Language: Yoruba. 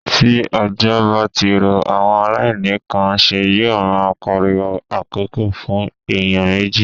Tí òjò bá ti rọ̀, àwọn aláìní kan nṣe yó ma pariwo àkókò fún èèyàn méjì.